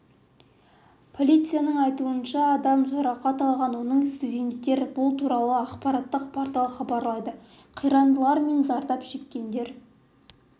полцияның айтуынша адам жарақат алған оның студенттер бұл туралы ақпараттық портал хабарлайды қирандылар мен зардап шеккендер